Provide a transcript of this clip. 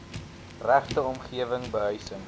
regte omgewing behuising